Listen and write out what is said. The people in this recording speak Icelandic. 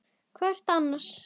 Hvar ertu annars?